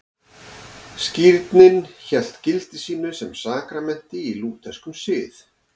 Skírnin hélt gildi sínu sem sakramenti í lútherskum sið.